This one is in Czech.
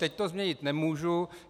Teď to změnit nemůžu.